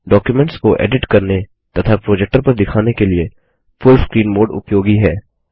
documents को edit करने तथा प्रोजेक्टर पर दिखाने के लिए फुल स्क्रीन मोड उपयोगी है